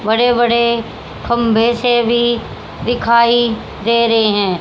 बड़े बड़े खंभे से भी दिखाई दे रहे हैं।